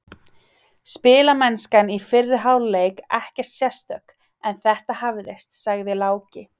Spilamennskan í fyrri hálfleik ekkert sérstök, en þetta hafðist, sagði Láki.